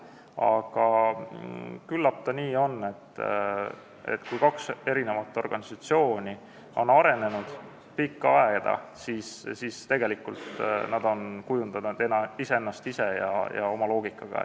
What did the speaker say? Aga küllap on nii, et kui kaks organisatsiooni on pikka aega arenenud, siis nad on kujundanud ennast ise ja oma loogikaga.